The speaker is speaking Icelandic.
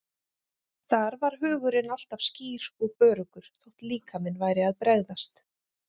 Þar var hugurinn alltaf skýr og öruggur þótt líkaminn væri að bregðast.